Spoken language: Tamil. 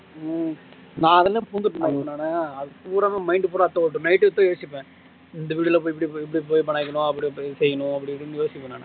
ஹம் நான் அதுலயே புகுந்துட்டேனா அப்போ நானு பூராமே mind பூராமே அதான் ஓடும். night இதா யோசிப்பேன். இந்த video ல போய் இப்படி போய் படம் வைக்கனும், அப்படி போய் செய்யனும் அப்படி இப்படினு யோசிப்பேன் நானு